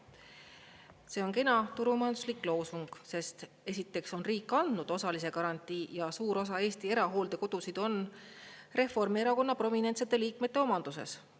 See on kena turumajanduslik loosung, sest esiteks on riik andnud osalise garantii ja suur osa Eesti erahooldekodusid on Reformierakonna prominentsete liikmete omanduses.